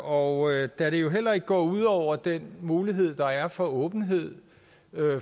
og da det jo heller ikke går ud over den mulighed der er for åbenhed